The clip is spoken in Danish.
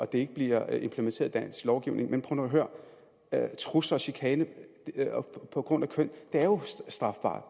det ikke bliver implementeret i dansk lovgivning men prøv nu at høre her trusler og chikane på grund af køn er jo strafbart